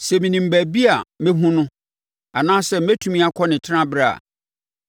Sɛ menim baabi a mɛhunu no; anaasɛ mɛtumi akɔ ne tenaberɛ a,